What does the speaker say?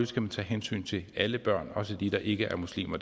skal man tage hensyn til alle børn også dem der ikke er muslimer